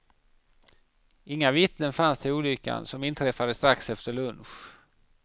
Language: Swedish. Inga vittnen finns till olyckan, som inträffade strax efter lunch.